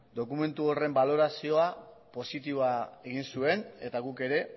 dokumentu horren balorazioa positiboa egin zuen eta guk ere